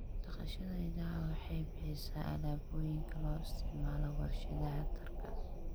Dhaqashada idaha waxay bixisaa alaabooyinka loo isticmaalo warshadaha dharka.